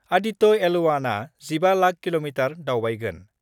Aditya L 1 आ 15 lakh kilometre दावबायगोन।